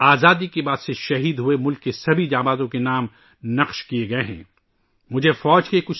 آزادی کے بعد سے شہید ہونے والے ملک کے تمام بہادروں کے نام 'نیشنل وار میموریل ' میں کندہ کئے گئے ہیں